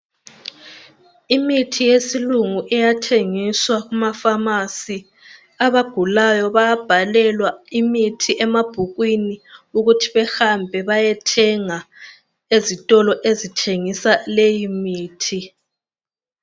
Imithi yesilungu iyathengiswa kumafamasi, abagulayo bayabhalelwa imithi emabhukwini ukuthi behambe bayethenga ezitolo ezithengisa leyi mithi.